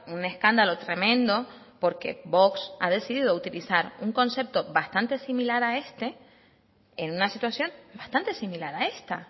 un escándalo tremendo porque vox ha decidido utilizar un concepto bastante similar a este en una situación bastante similar a esta